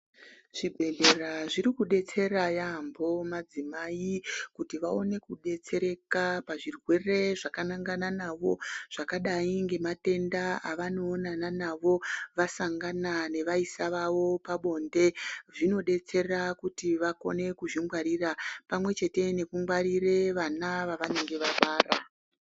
Zvibhedhlera zvirikudetsera yaambo madzimai kuti vaone kudetsereka pazvirwere zvakanangana navo, zvakadai ngematenda avanoonana nawo vasangana nevaisa vavo pabonde. Zvinodetsera kuti vakone kuzvingwarira pamwechete nekungwarire vana vavanenge vabara.